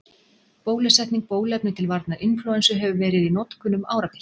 Bólusetning Bóluefni til varnar inflúensu hefur verið í notkun um árabil.